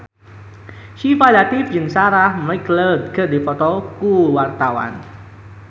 Syifa Latief jeung Sarah McLeod keur dipoto ku wartawan